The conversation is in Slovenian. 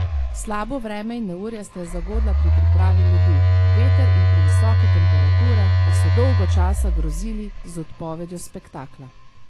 Slabo vreme in neurje sta jo zagodla pri pripravi ledu, veter in previsoke temperature pa so dolgo časa grozili z odpovedjo spektakla.